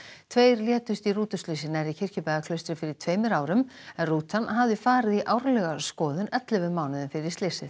tveir létust í rútuslysi nærri Kirkjubæjarklaustri fyrir tveimur árum en rútan hafði farið í árlega skoðun ellefu mánuðum fyrir slysið